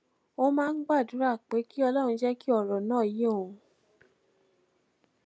ó máa ń gbàdúrà pé kí ọlórun jé kí òrò náà yé òun